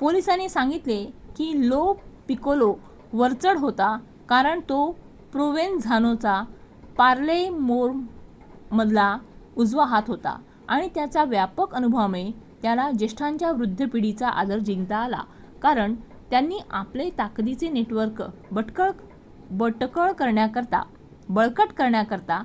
पोलिसांनी सांगितलं की लो पिकोलो वरचढ होता कारण तो प्रोवेनझानोचा पालेर्मोमधला उजवा हात होता आणि त्याच्या व्यापक अनुभवामुळे त्याला ज्येष्ठांच्या वृद्ध पिढीचा आदर जिंकता आला कारण त्यांनी आपले ताकदीचे नेटवर्क बळकट करताना